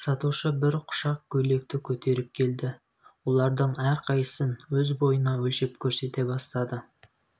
сатушы бір құшақ көйлекті көтеріп келді олардың әрқайсысын өз бойына өлшеп көрсете бастады